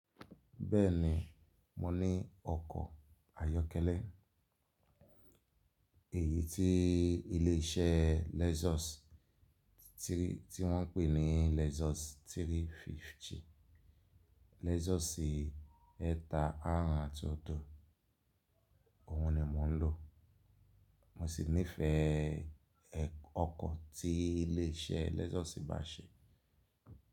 Bẹ́ẹ̀ni, mo ní ọkọ̀ ayọ́kẹ́lẹ́ èyí tí ilé iṣẹ́ Lexus tí wọ́n ń pè ní Lexus 350, Lexus ẹ̀ta àrún àti ọ̀dọ̀, òhun ni mo ń lò. Mo sì nífẹ̀ẹ́ ọkọ̀ tí ilé iṣẹ́ Lexus bá ṣe.